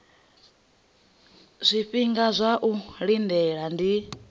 zwifhinga zwa u lindela ndi